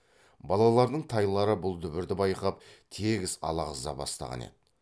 балалардың тайлары бұл дүбірді байқап тегіс алағыза бастаған екен